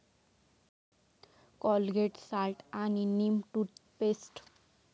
Colgate salt आणि neem toothpaste